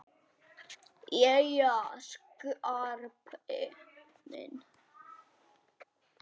Jæja, Skarpi minn.